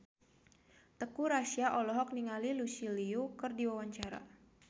Teuku Rassya olohok ningali Lucy Liu keur diwawancara